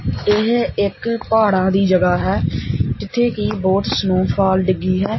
ਇਹ ਇੱਕ ਪਹਾੜਾਂ ਦੀ ਜਗ੍ਹਾ ਹੈ ਜਿੱਥੇ ਕਿ ਬਹੁਤ ਸਨੋਫਾਲ ਡਿੱਗੀ ਹੈ।